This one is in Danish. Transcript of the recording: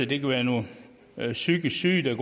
det kan være nogle psykisk syge der